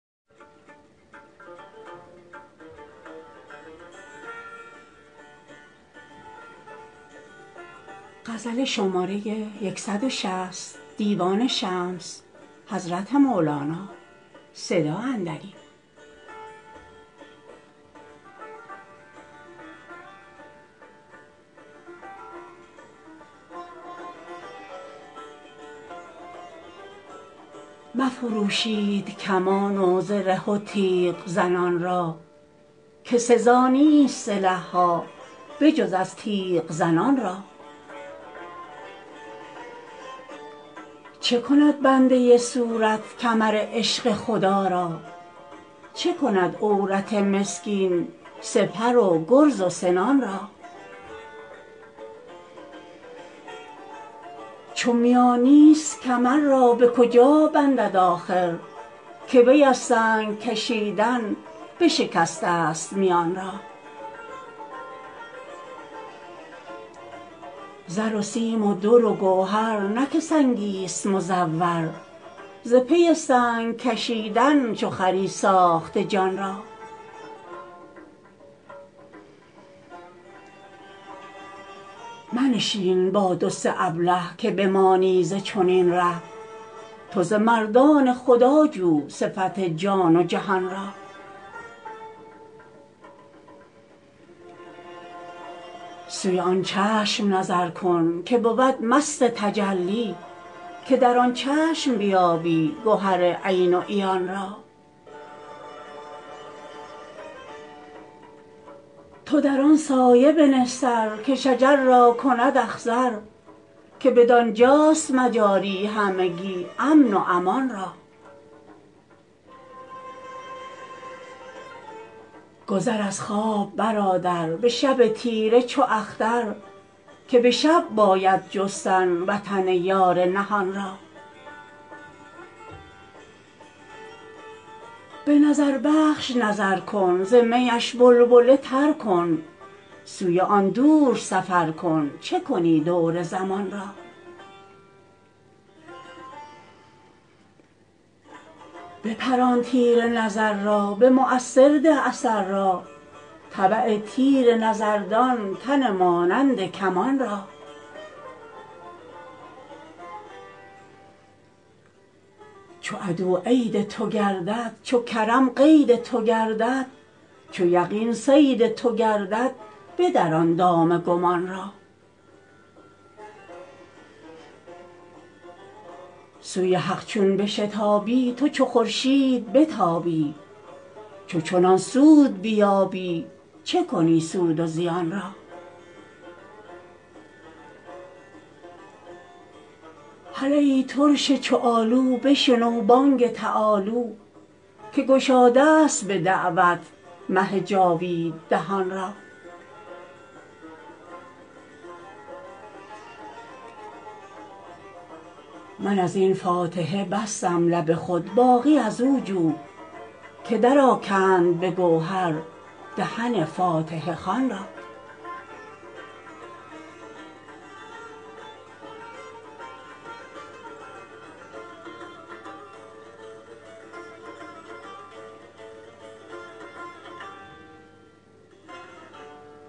مفروشید کمان و زره و تیغ زنان را که سزا نیست سلح ها به جز از تیغ زنان را چه کند بنده صورت کمر عشق خدا را چه کند عورت مسکین سپر و گرز و سنان را چو میان نیست کمر را به کجا بندد آخر که وی از سنگ کشیدن بشکستست میان را زر و سیم و در و گوهر نه که سنگیست مزور ز پی سنگ کشیدن چو خری ساخته جان را منشین با دو سه ابله که بمانی ز چنین ره تو ز مردان خدا جو صفت جان و جهان را سوی آن چشم نظر کن که بود مست تجلی که در آن چشم بیابی گهر عین و عیان را تو در آن سایه بنه سر که شجر را کند اخضر که بدان جاست مجاری همگی امن و امان را گذر از خواب برادر به شب تیره چو اختر که به شب باید جستن وطن یار نهان را به نظربخش نظر کن ز میش بلبله تر کن سوی آن دور سفر کن چه کنی دور زمان را بپران تیر نظر را به مؤثر ده اثر را تبع تیر نظر دان تن مانند کمان را چو عدواید تو گردد چو کرم قید تو گردد چو یقین صید تو گردد بدران دام گمان را سوی حق چون بشتابی تو چو خورشید بتابی چو چنان سود بیابی چه کنی سود و زیان را هله ای ترش چو آلو بشنو بانگ تعالوا که گشادست به دعوت مه جاوید دهان را من از این فاتحه بستم لب خود باقی از او جو که درآکند به گوهر دهن فاتحه خوان را